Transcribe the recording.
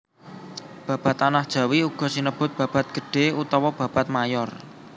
Babad Tanah Jawi uga sinebut babad gedhé utawa babad mayor